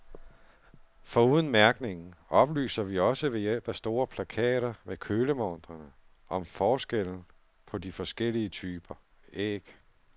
Foruden mærkningen oplyser vi også ved hjælp af store plakater ved kølemontrene om forskellen på de forskellige typer æg.